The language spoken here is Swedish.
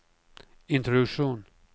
introduktion